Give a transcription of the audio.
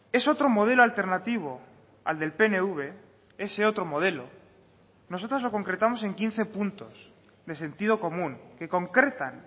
es otro modelo alternativo al del pnv ese otro modelo nosotros lo concretamos en quince puntos de sentido común que concretan